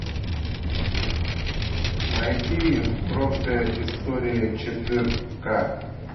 найди бронская история четырка